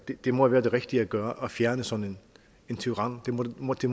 det måtte være det rigtige at gøre at fjerne sådan en tyran det måtte